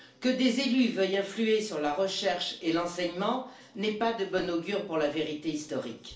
Que des élus veuillent influer sur la recherche et l'enseignement n'est pas de bon augure pour la vérité historique.